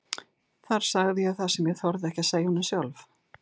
Þar sagði ég það sem ég þorði ekki að segja honum sjálf.